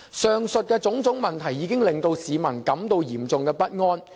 上述種種問題已令市民感到嚴重不安。